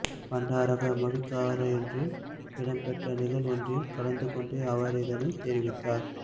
பண்டாரகம விகாரையொன்றில் இடம்பெற்ற நிகழ்வொன்றில் கலந்து கொண்டு அவர் இதனை தெரிவித்தார்